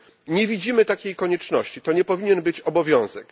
Nie widzimy takiej konieczności, to nie powinien być obowiązek.